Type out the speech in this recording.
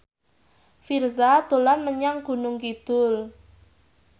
Virzha dolan menyang Gunung Kidul